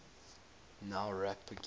nowrap begin